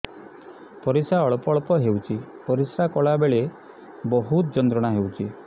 ପରିଶ୍ରା ଅଳ୍ପ ଅଳ୍ପ ହେଉଛି ପରିଶ୍ରା କଲା ବେଳେ ବହୁତ ଯନ୍ତ୍ରଣା ହେଉଛି